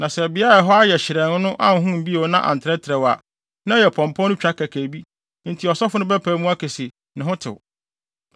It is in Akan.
Na sɛ beae a ɛhɔ ayɛ hyerɛnn no anhon bio na antrɛtrɛw a, na ɛyɛ pɔmpɔ no twa kɛkɛ enti ɔsɔfo no bɛpae mu aka se ne ho tew.